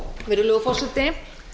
virðulegur forseti